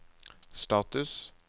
status